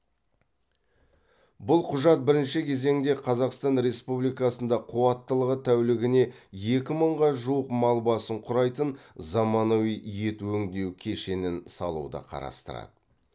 бұл құжат бірінші кезеңде қазақстан республикасында қуаттылығы тәулігіне екі мыңға жуық мал басын құрайтын заманауи ет өңдеу кешенін салуды қарастырады